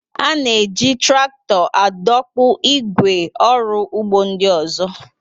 A na-eji traktọ adọkpụ ígwè ọrụ ugbo ndị ọzọ.